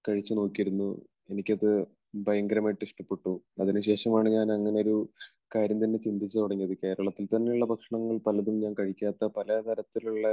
കഴിച്ചു നോക്കിയിരുന്നു എനിക്കത് ഭയങ്കരമായിട്ട് ഇഷ്ടപ്പെട്ടു. അതിനുശേഷമാണ് ഞാൻ അങ്ങനെയൊരു കാര്യം തന്നെ ചിന്തിച്ചുതുടങ്ങിയത്. കേരളത്തിൽത്തന്നെയുള്ള ഭക്ഷണങ്ങൾ പലതും ഞാൻ കഴിക്കാത്ത പലതരത്തിലുള്ള